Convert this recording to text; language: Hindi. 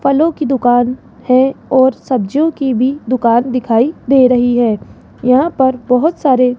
फलों की दुकान है और सब्जियों की भी दुकान दिखाई दे रही है यहां पर बहोत सारे --